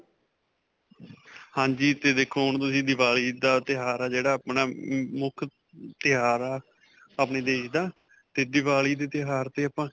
ਹਾਂਜੀ. 'ਤੇ ਦੇਖੋ ਹੁਣ ਤੁਸੀਂ ਦੀਵਾਲੀ ਦਾ ਤਿਉਹਾਰ ਹੈ ਜਿਹੜਾ ਆਪਣਾ, ਮੁੱਖ ਤਿਉਹਾਰ ਹੈ ਆਪਣੇ ਦੇਸ਼ ਦਾ 'ਤੇ ਦੀਵਾਲੀ ਦੇ ਤਿਉਹਾਰ 'ਤੇ ਆਪਾਂ.